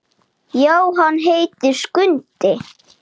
Já, hann heitir Skundi.